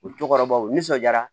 U cɔkɔrɔbaw nisɔn diyara